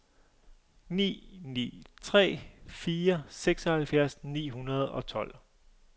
ni ni tre fire seksoghalvfjerds ni hundrede og tolv